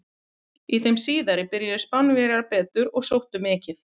Í þeim síðari byrjuðu Spánverjar betur og sóttu mikið.